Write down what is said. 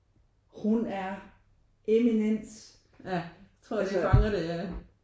Hun er eminence altså